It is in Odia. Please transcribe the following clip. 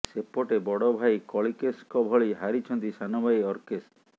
ସେପଟେ ବଡ ଭାଇ କଳିକେଶଙ୍କ ଭଳି ହାରିଛନ୍ତି ସାନ ଭାଇ ଅର୍କେଶ